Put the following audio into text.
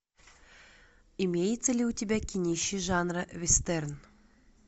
имеется ли у тебя кинище жанра вестерн